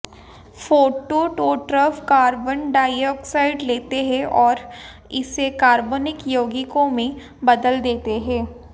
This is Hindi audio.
फोटोटोट्रॉफ कार्बन डाइऑक्साइड लेते हैं और इसे कार्बनिक यौगिकों में बदल देते हैं